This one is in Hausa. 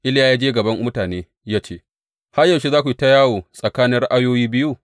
Iliya ya je gaban mutane ya ce, Har yaushe za ku yi ta yawo tsakanin ra’ayoyi biyu?